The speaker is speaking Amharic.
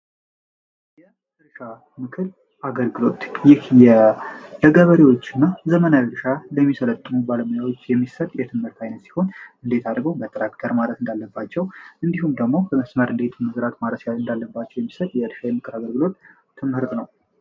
የእርሻ ምክር አገልግሎት ይህ ለገበሬዎች እና ለዘመናዊ እርሻ ለሚጠቀሙም ለዘመናዊ አርሶ አደሮች ምን ማድረግ እንዳለባቸው እንዲሁም ደግሞ በመስመር እንዴት እንደሚዘሩ እንዴት ማረስ እንዳለባቸው የሚናገር ነው።